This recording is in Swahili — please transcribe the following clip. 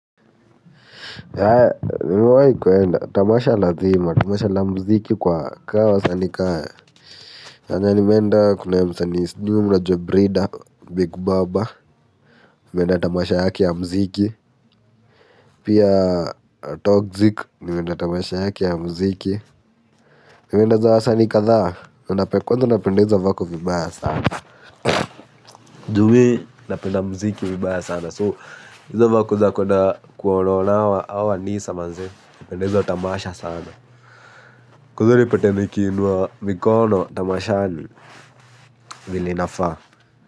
Yae, nimewahi kuenda, tamasha lazima, tamasha la muziki kwa kaa wasani kama yenye nimeenda kuna ya msani sijui, mnajua Breeda, Big Baba, nimeenda tamasha yaka ya muziki. Pia Toxic, nimeenda tamasha yake muziki. Nimeenda za wasani kadhaa, kwanza ninapenda hizo vako vibaya sana. Juu mimi napenda muziki vibaya sana so, hizo vako za kuenda kuwaona ona hawa wanisa manze, napenda hizo tamasha sana. Kwanza unipate nikiinua mikono tamashani, vile inafaa.